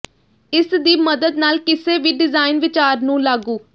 ਇਸ ਦੀ ਮਦਦ ਨਾਲ ਕਿਸੇ ਵੀ ਡਿਜ਼ਾਇਨ ਵਿਚਾਰ ਨੂੰ ਲਾਗੂ